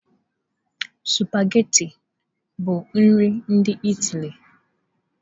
Sụpaghetị bụ nri ndị Ịtali.